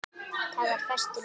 Það var fastur liður.